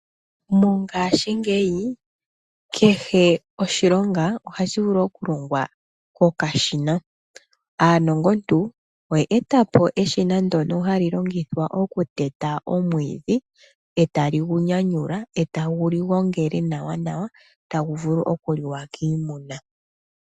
Mongaashi ngeyi kehe oshilonga ohashi vulu okulongwa kokashina. Aanongontu oyetapo eshina ndono hali longithwa okuteta omwiidhi etagu li nyanyula etagu li gongele nawa nawa tagu vulu okuliwa kiimuna.